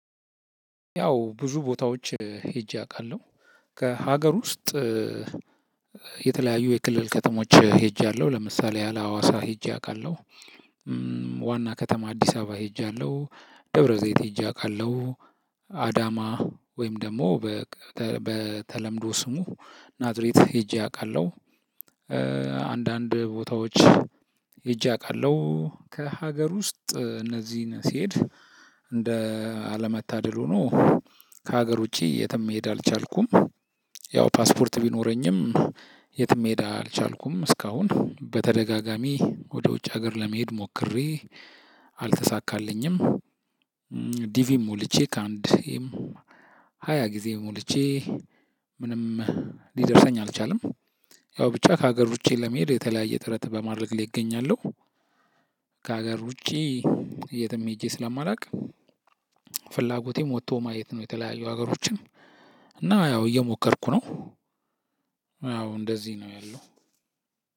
ያው ብዙ ቦታዎች ሄጄ አውቃለሁ ከሀገር ውስጥ የተለያዩ የክልል ከተሞች ሄጃለሁ። ለምሳሌ ያለ ሀዋሳ ሄጄ አውቃለሁ። ዋና ከተማ አዲስ አበባ ሄጃለሁ። ደብረ ዘይት ሄጄ አውቃለሁ። አዳማ ወይም ደግሞ በተለምዶ ስሙ ናዝሬት ሄጄ አውቃለሁ። አንዳንድ ቦታዎች ሄጄ አውቃለሁ። ከሀገር ውስጥ እነዚህን ስሄድ እንደ አለመታደል ሆኖ ከሀገር ውጪ የትም መሄድ አልቻልኩም። ያው ፓስፖርት ቢኖረኝም የትም መሄድ አልቻልኩም እስካሁን በተደጋጋሚ ወደ ውጭ ሀገር ለመሄድ ሞክሬ አልተሳካልኝም። ዲቪ ሞልቼ ከአንድ ሃያ ጊዜ ሞልቼ ምንም ሊደርሰኝ አልቻለም። ያው ብቻ ከሀገር ውጪ ለመሄድ የተለያየ ጥረት በማድረግ ላይ እገኛለሁ። ከሀገር ውጪ የትም ሄጄ ስለማላውቅ ፍላጎቴም ወጥቶ ማየት ነው የተለያዩ ሀገሮችን እና ያው እየሞከርኩ ነው። ያው እንደዚህ ነው ያለው።